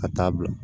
Ka taa bila